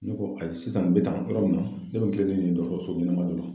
Ne ko ayi sisan n be taa yɔrɔ min na ,ne be n tilen ni nin ye dɔgɔtɔrɔso ɲɛnama dɔ la.